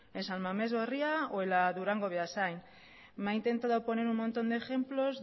en san mamés berria en la durango beasain me ha intentado poner un montón de ejemplos